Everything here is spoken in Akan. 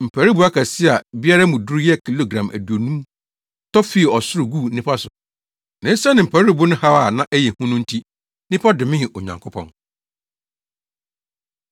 Mparuwbo akɛse a biara mu duru yɛ kilogram aduonum tɔ fii ɔsoro guu nnipa so. Na esiane mparuwbo no haw a na ɛyɛ hu no nti, nnipa domee Onyankopɔn.